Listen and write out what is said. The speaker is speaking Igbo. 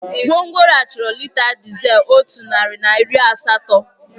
Gwongworo a chọrọ lita dizel otu narị na iri asatọ.